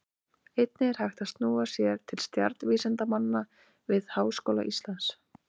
Einnig er hægt að snúa sér til stjarnvísindamanna við Háskóla Íslands.